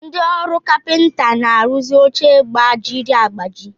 Ndị ọrụ kapịnta na-arụzi oche gbajiri agbaji.